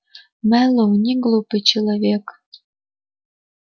мэллоу неглупый человек